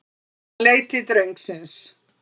Hann leit til drengsins.